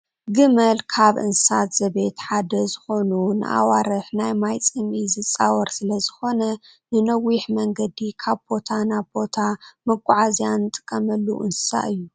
ግመል ካብ እንስሳ ዘቤት ሓደ ኮይኑ ንኣዋርሕ ናይ ማይ ፅምኢ ዝፃወር ስለዝኮነ ንነዊሕ መንገዲ ካብ ቦታ ናብ ቦታ መጓዓዝያ ንጥቀመሉ እንስሳ እዩ።